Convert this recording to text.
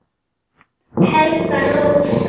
Helga Rósa